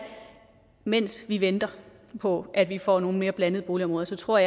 mens vi venter på at vi får nogle mere blandede boligområder tror